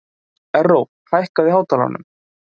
Erró, hækkaðu í hátalaranum.